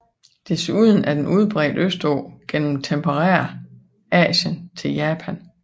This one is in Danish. Desuden er den udbredt østpå gennem tempereret Asien til Japan